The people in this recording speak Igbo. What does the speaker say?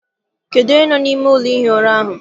Kedụ onye nọ n'ime ụlọ ihi ura ahụ?